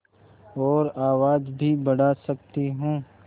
और आवाज़ भी बढ़ा सकती हूँ